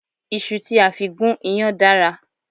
Iṣu tí a fi gún iyán dára